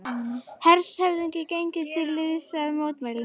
Hershöfðingi gengur til liðs við mótmælendur